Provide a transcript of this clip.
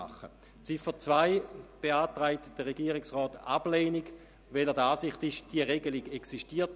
Bei der Ziffer 2 beantragt der Regierungsrat die Ablehnung, weil er der Ansicht ist, dass diese Regelung bereits existiert.